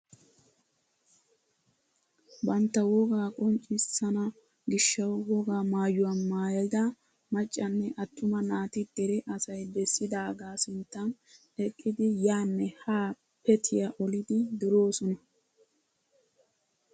Bantta wogaa qonccisana gishshawu wogaa maayuwaa maayda maccanne attuma naati dere asay bessidaagaa sinttan eqqidi yaanne haa petiyaa olidi duroosona.